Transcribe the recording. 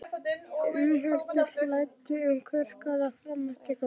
Innihaldið flæddi um kverkarnar fram eftir kvöldi.